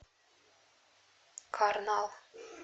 карнал